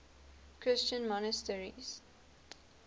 christian monasteries